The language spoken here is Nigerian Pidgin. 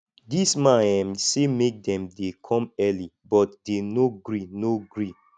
the man um say make dem dey come early but dey no gree no gree